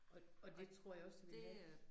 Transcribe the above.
Og og det tror jeg også, jeg ville have